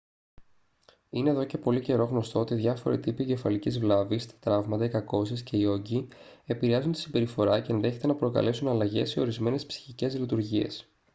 είναι εδώ και πολύ καιρό γνωστό ότι διάφοροι τύποι εγκεφαλικής βλάβης τα τραύματα οι κακώσεις και οι όγκοι επηρεάζουν τη συμπεριφορά και ενδέχεται να προκαλέσουν αλλαγές σε ορισμένες ψυχικές λειτουργίες